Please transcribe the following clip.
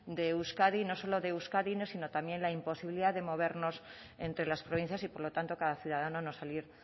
de euskadi no solo de euskadi sino también la imposibilidad de movernos entre las provincias y por lo tanto cada ciudadano no salir